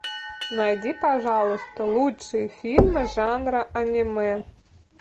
найди пожалуйста лучшие фильмы жанра аниме